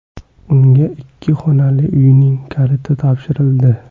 Unga ikki xonali uyning kaliti topshirildi.